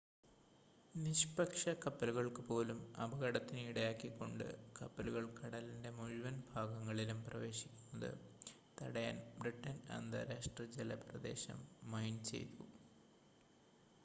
നിഷ്പക്ഷ കപ്പലുകൾക്ക് പോലും അപകടത്തിന് ഇടയാക്കിക്കൊണ്ട് കപ്പലുകൾ കടലിൻ്റെ മുഴുവൻ ഭാഗങ്ങളിലും പ്രവേശിക്കുന്നത് തടയാൻ ബ്രിട്ടൻ അന്താരാഷ്‌ട്ര ജല പ്രദേശം മൈൻ ചെയ്തു